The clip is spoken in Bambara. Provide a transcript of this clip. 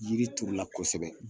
Yiri turu la kosɛbɛ.